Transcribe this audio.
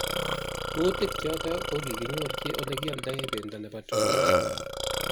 Kutik chotok kokikinyorji olekialdaei pendo nebo tumin.